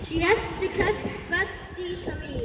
Sértu kært kvödd, Dísa mín.